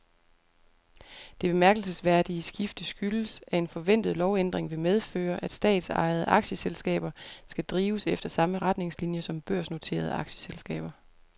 Det bemærkelsesværdige skifte skyldes, at en forventet lovændring vil medføre, at statsejede aktieselskaber skal drives efter samme retningslinier som børsnoterede aktieselskaber.